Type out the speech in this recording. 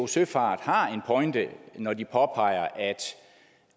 søfart har en pointe når de påpeger